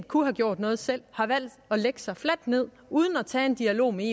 kunne have gjort noget selv har valgt at lægge sig fladt ned uden at tage en dialog med